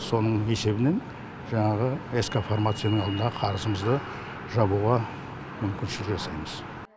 соның есебінен жаңағы ск фармацияның алдындағы қарызымызды жабуға мүмкіншілік жасаймыз